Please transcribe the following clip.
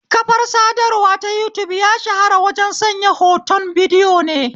Kafar sadarwa ta yutub ya shahara wajen sanya hotun bidiyo ne